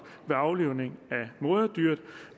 ved aflivningen af moderdyret